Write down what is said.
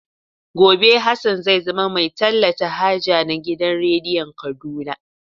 Gobe Hassan zai zama mai talata haja na gidan rediyon Kaduna.